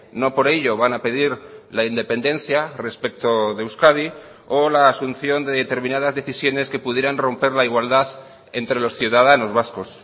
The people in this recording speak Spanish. no por ello van a pedir la independencia respecto de euskadi o la asunción de determinadas decisiones que pudieran romper la igualdad entre los ciudadanos vascos